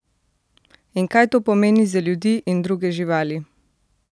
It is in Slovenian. In kaj to pomeni za ljudi in druge živali?